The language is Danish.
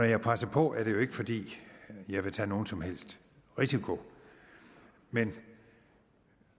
jeg presser på er det jo ikke fordi jeg vil tage nogen som helst risiko men